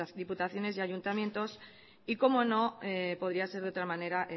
diputaciones y ayuntamientos y como no podía ser de otra manera